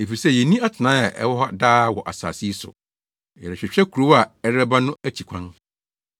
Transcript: Efisɛ yenni atenae a ɛwɔ hɔ daa wɔ asase yi so. Yɛrehwehwɛ kurow a ɛrebɛba no akyi kwan.